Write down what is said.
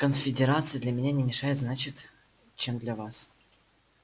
конфедерация для меня не мешает значит чем для вас